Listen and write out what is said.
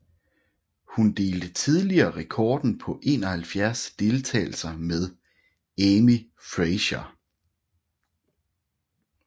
Hun delte tidligere rekorden på 71 deltagelser med Amy Frazier